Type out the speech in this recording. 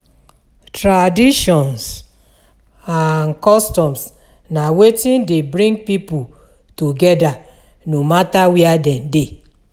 Traditions and customs na wetin de bring pipo together no matter where dem de